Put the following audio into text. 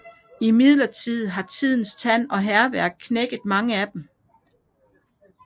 Imidlertid har tidens tand og hærværk knækket mange af dem af